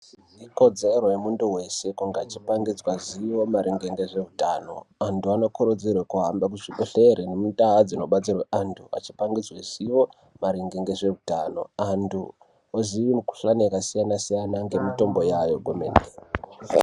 Ikodzero yemuntu weshe kungachipangidzwa zivo maringe ngezveutano. Antu anokurudzirwa kuhamba kuzvibhedhlera ngemutaha dzinobatsirwe antu echipangidzwe zivo maringe ngezveutano antu oziye mukhuhlane yakasiyana siyana ngemitombo yayo kwemene.